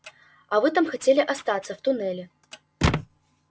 а вы там хотели остаться в туннеле